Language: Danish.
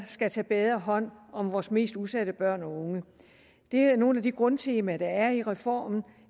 skal tage bedre hånd om vores mest udsatte børn og unge det er nogle af de grundtemaer der er i reformen